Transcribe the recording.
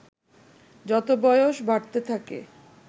যত বয়স বাড়তে থাকে